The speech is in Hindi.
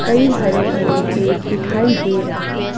कई हरे भरे पेड़ दिखाई दे रहे हैं।